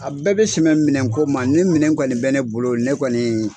A bɛɛ bɛ sɛmɛ minɛko ma ni minɛ kɔni bɛ ne bolo ne kɔni.